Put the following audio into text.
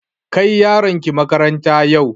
Kai yaronki makaranta yau!